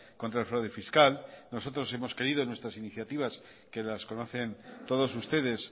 contra el fraude fiscal nosotros hemos creído en nuestra iniciativas que las conocen todos ustedes